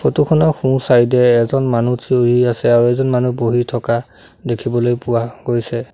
Photo খনৰ সোঁ side এ এজন মানুহ থিয় হৈ আছে আৰু এজন মানুহ বহি থকা দেখিবলৈ পোৱা গৈছে।